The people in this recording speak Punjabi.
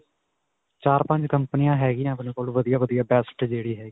ਚਾਰ-ਪੰਜ ਕੰਪਨੀਆਂ ਹੈ ਗਿਆ ਆਪਣੇ ਕੋਲ ਵਧੀਆ-ਵਧੀਆ best ਜਿਹੜੀ .